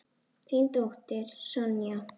Þín dóttir Sonja.